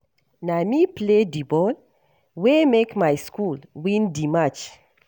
Na me play di ball wey make my school win di match.